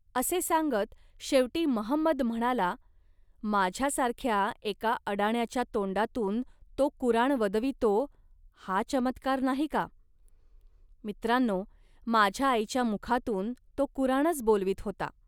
असे सांगत शेवटी महंमद म्हणाला, "माझ्यासारख्या एका अडाण्याच्या तोंडातून तो कुराण वदवितो, हा चमत्कार नाही का. मित्रांनो, माझ्या आईच्या मुखातून तो कुराणच बोलवीत होता